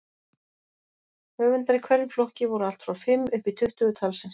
Höfundar í hverjum flokki voru allt frá fimm uppí tuttugu talsins.